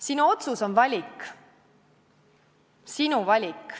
Sinu otsus on valik, sinu valik.